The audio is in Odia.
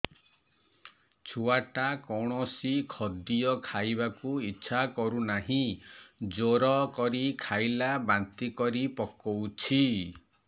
ଛୁଆ ଟା କୌଣସି ଖଦୀୟ ଖାଇବାକୁ ଈଛା କରୁନାହିଁ ଜୋର କରି ଖାଇଲା ବାନ୍ତି କରି ପକଉଛି